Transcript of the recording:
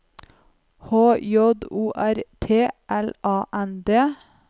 H J O R T L A N D